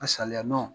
A saliya nɔ